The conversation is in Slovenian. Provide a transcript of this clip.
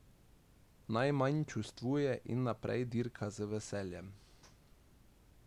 Naj manj čustvuje in naprej dirka z veseljem.